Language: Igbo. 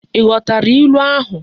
I ghotara ilu ahu?